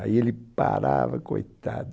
Aí ele parava, coitado.